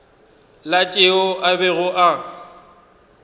la tšeo a bego a